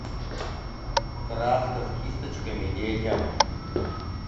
краска с кисточками детям